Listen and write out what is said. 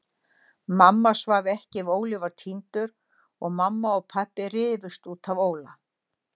Mamma svaf ekki ef Óli var týndur og mamma og pabbi rifust út af Óla.